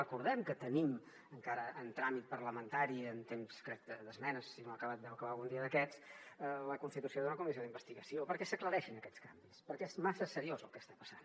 recordem que tenim encara en tràmit parlamentari en temps crec d’esmenes si no ha acabat deu acabar algun dia d’aquests la constitució d’una comissió d’investigació perquè s’aclareixin aquests canvis perquè és massa seriós el que està passant